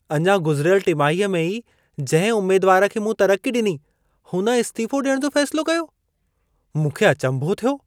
अञा गुज़िरियल टिमाहीअ में ई जंहिं उमेदवार खे मूं तरक़ी ॾिनी, हुन इस्तीफ़ो ॾियण जो फ़ैसिलो कयो। मूंखे अचंभो थियो।